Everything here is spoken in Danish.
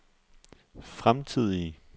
fremtidige